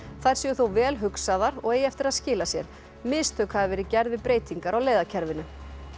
þær séu þó vel hugsaðar og eigi eftir að skila sér mistök hafi verið gerð við breytingar á leiðakerfinu